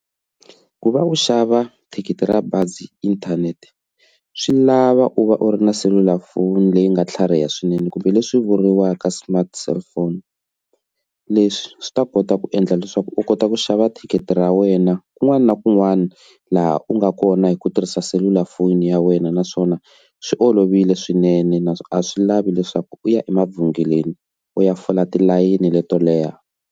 Ku va u xava thikithi ra bazi inthanete swi lava u va u ri na selulafoni leyi nga tlhariha swinene kumbe leswi vuriwaka smart cellphone leswi swi ta kota ku endla leswaku u kota ku xava thikithi ra wena kun'wana na kun'wana laha u nga kona hi ku tirhisa selulafoni ya wena naswona swi olovile swinene naswona a swi lavi leswaku u ya emavhengeleni u ya fola tilayini leto leha.